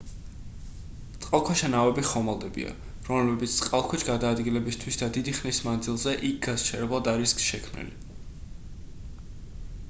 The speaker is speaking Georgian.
წყალქვეშა ნავები ხომალდებია რომლებიც წყალქვეშ გადაადგილებისთვის და დიდი ხნის მანძილზე იქ გასაჩერებლად არიან შექმნილი